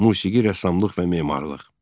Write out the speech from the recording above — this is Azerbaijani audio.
Musiqi, rəssamlıq və memarlıq.